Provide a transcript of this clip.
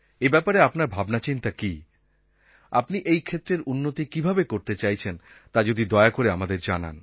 এই ব্যাপারে আপনার ভাবনাচিন্তা কী আপনি এই ক্ষেত্রের উন্নতি কীভাবে করতে চাইছেন তা যদি দয়া করে আমাদের জানান